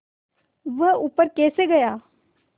वह ऊपर कैसे गया